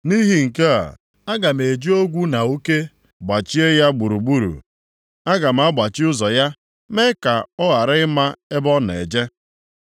Nʼihi nke a, aga m eji ogwu na uke gbachie ya gburugburu; aga m agbachi ụzọ ya, mee ya ka ọ ghara ịma ebe ọ na-eje.